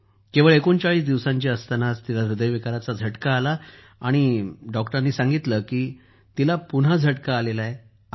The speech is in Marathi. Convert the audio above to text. केवळ ३९ दिवसांची झाली असतानाच तिला ह्रदयविकाराचा झटका आला आणि डॉक्टरांनी सांगितलं की तिला पुन्हा झटका आला आहे